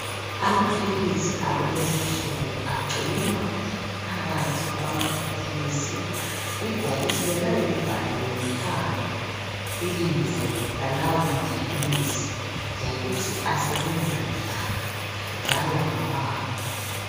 Amaphilisi akulezi nsuku agcinwa phakathi kwamabhokisi. Ibhokisi lelo liyabe libhaliwe phandle ibizo lalawo maphilisi .Lokuthi asebenza njani .Njalo ngawani .